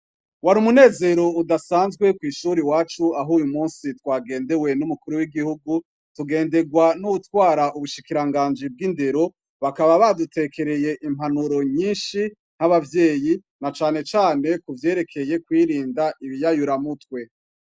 Wari umunezero udasanzwe kw'ishure iwacu, aho uyu musi twagendewe n'umukuru w'Igihugu, tugenderwa n'uwutwari ubushikirangaji bw'indero, bakaba badutekereye impanuro nyinshi nk'abavyeyi na cane cane kuvyerekeye kwirinda ibiyayura mutwe.